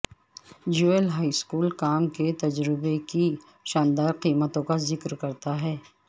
جویل high school کام کے تجربے کی شاندار قیمتوں کا ذکر کرتا ہے